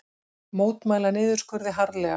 Mótmæla niðurskurði harðlega